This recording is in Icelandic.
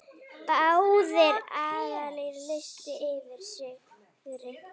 Báðir aðilar lýstu yfir sigri.